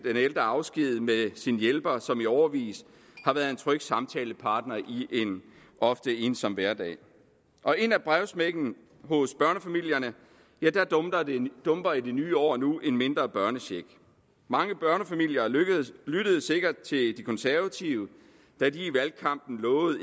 ældre afsked med sin hjælper som i årevis har været en tryg samtalepartner i en ofte ensom hverdag og ind ad brevsprækken hos børnefamilierne dumper i det nye år nu en mindre børnecheck mange børnefamilier lyttede sikkert til de konservative da de i valgkampen lovede